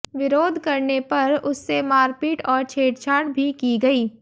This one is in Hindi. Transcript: विरोध करने पर उससे मारपीट और छेड़छाड़ भी की गई